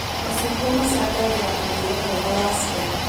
Macungwa macangagĩra mũrĩre mwega wa ciana